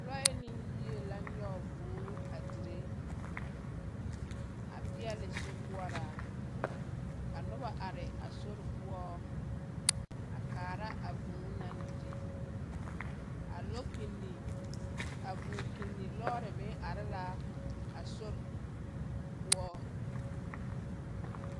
Lɔɛ ne yie la a nyɔge vūū a dire a peɛle sokoɔraa ka noba are a sori poɔ a kaara a vūū naŋ dire. A lɔkpinni, a vūūkpinni lɔɔre meŋ are la a sori poɔ